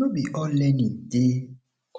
no be all learning dey